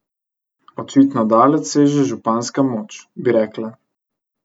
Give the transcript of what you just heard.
Očitno daleč seže županska moč, bi rekla.